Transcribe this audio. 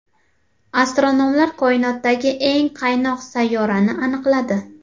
Astronomlar koinotdagi eng qaynoq sayyorani aniqladi.